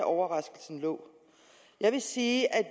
overraskelsen lå jeg vil sige at